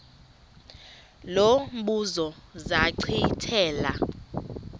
lo mbuzo zachithela